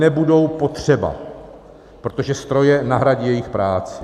nebudou potřeba, protože stroje nahradí jejich práci.